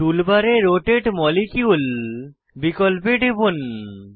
টুল বারে রোটাতে মলিকিউল বিকল্পে টিপুন